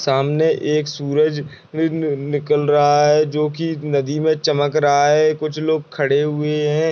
सामने एक सूरज निकल रहा है जो की नदी में चमक रहा है कुछ लोग खड़े हुये हैं।